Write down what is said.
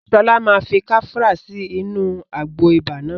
Sọlá máa fi kafra sí inú àgbo ibà náà